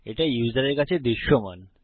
এটা ইউসারের কাছে দৃশ্যমান